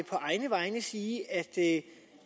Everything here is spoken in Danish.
på egne vegne sige at